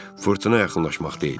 Fırtına yaxınlaşmaqdaydı.